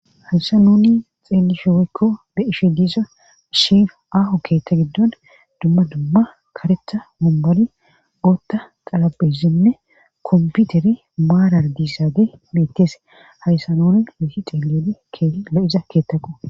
Haysa nuni xeelishi woykko be'ishe diiza shaafa aaho keeththa giddon dumma dumma karetha mumboli gootta qallabe simme komputeri maarar diissaage mettese hayssanoon woti xeelioli kee lo7iza keettaqo.